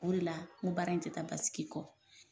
O de la n ko baara in tɛ taa basigi kɔ.